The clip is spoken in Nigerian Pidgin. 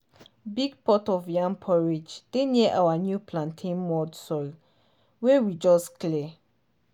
big pot of yam porridge dey near our new plantain mound soil wey we just clear.